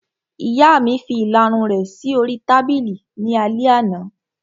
Ìyá mi fi ìlarun rẹ̀ sí oríi tábìlì ní alẹ́ àná